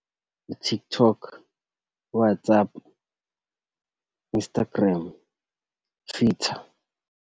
I-TikTok, WhatsApp, Instagram, Twitter.